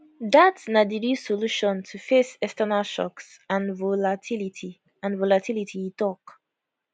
dat na di real solution to face external shocks and volatility and volatility e tok